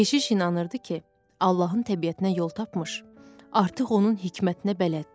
Keşiş inanırdı ki, Allahın təbiətinə yol tapmış, artıq onun hikmətinə bələddir.